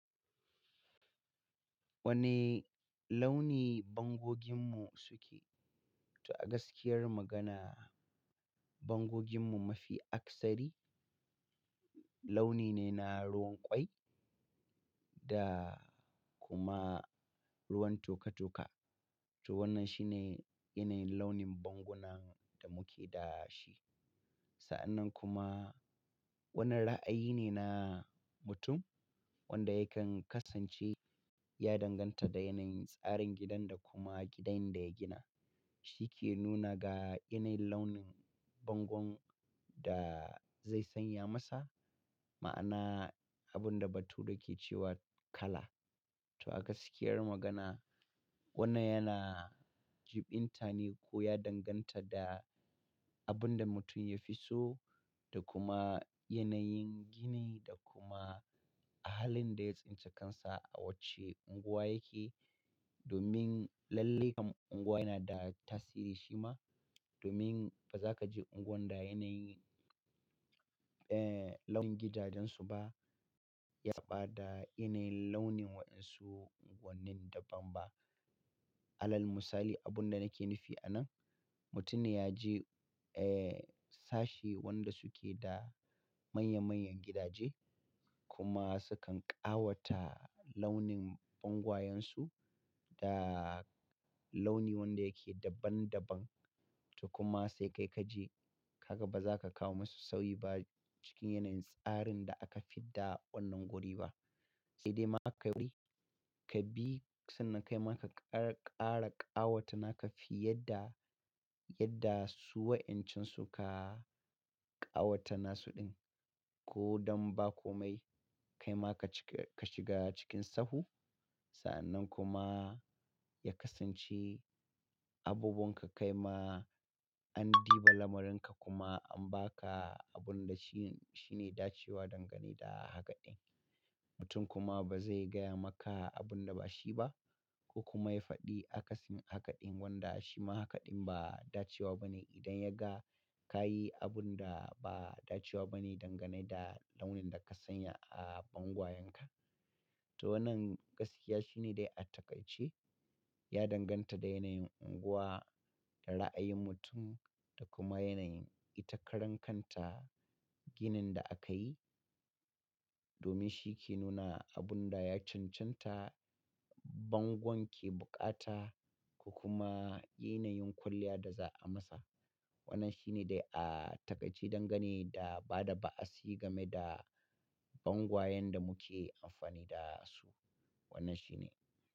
Wane launi bangoginmu suke? To a gaskiyar magana, bangoginmu mafi aksari launi ne na ruwan ƙwai da kuma ruwan toka-toka. To wannan shine yanayin launin banguna da muke da shi. Sa'annan kuma wanan ra'ayi ne na mutum wanda yakan kasance ya danganta da yanayin tsarin gidan da kuma gidan da ya gina. Shi ke nuna ga yanayin launin bangon da zai sanya masa. Ma'ana abun da bature ke cewa kala. To a gaskiyar magana, wannan yana jib intane ko ya danganta da abun da mutum ya fi so da kuma yanayin gini da kuma halin da ya tsinci kansa a wacce unguwa yake. Domin lallai kam unguwa yana da tasiri shi ma. Domin ba za ka je unguwan da yanayin, eh, launin gidajensu ba ya saba da yanayin launin wa'insu wannan daban ba. Alal misali, abun da nake nufi a nan, mutumi ya je, eh, sashe wanda suke da manya-manyan gidaje kuma sukan ƙawata launin bangwayensu da launi wanda yake daban-daban. To kuma sai kai ka je ka ga ba za ka kawo masu sauyi ba cikin yanayin tsarin da aka fi da wannan wuri ba. Sai dai ma ka bi, ka bi sannan kai ma ka ƙara ƙawata naka fiye da, yadda su wa'encan su ka ƙawata nasu din. Ko don ba komai, kai ma ka cika ka shiga cikin sahu. Sa'annan kuma ya kasance abubuwan ka kai ma an diba lamarin ka kuma an ba ka abun da shi, shi ne dacewa dangane da hakaɗin. Mutum kuma ba zai gaya maka abun da ba shi ba ko kuma ya faɗi akasin hakaɗin wanda shi ma hakaɗin ba dacewa bane idan ya ga ka yi abun da ba dacewa bane dangane da launin da ka sanya a bangwayenka. To wannan gaskiya shi ne dai a takaice, ya danganta da yanayin unguwa, da ra'ayin mutum da kuma yanayin ita karan kanta ginin da aka yi. Domin shi ke nuna abun da ya cancanta bango ke bukata ko kuma yanayin kwalliya da za a masa. Wannan shi ne dai a takaice dangane da ba da ba'a si game da bangwayen da muke amfani da su. Wannan shi ne.